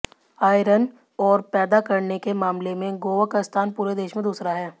iron ore पैदा करने के मामले में गोवा का स्थान पूरे देश में दूसरा है